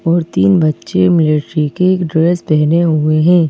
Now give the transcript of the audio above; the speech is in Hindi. और तीन बच्चे मिलिट्री के एक ड्रेस पहने हुए हैं।